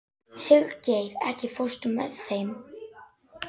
Indíana, mun rigna í dag?